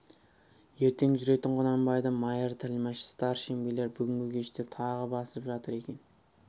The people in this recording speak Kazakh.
ертең жүретін құнанбайды майыр тілмәш старшын билер бүгінгі кеште тағы басып жатыр екен